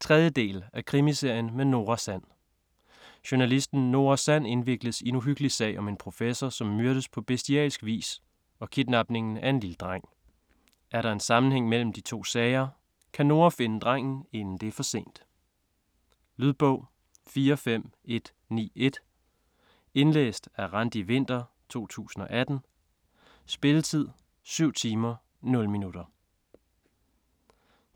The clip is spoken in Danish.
3. del af Krimiserien med Nora Sand. Journalisten Nora Sand indvikles i en uhyggelig sag om en professor, som myrdes på bestialsk vis og kidnapningen af en lille dreng. Er der en sammenhæng imellem de to sager? Kan Nora finde drengen inden det er for sent? Lydbog 45191 Indlæst af Randi Winther, 2018. Spilletid: 7 timer, 0 minutter.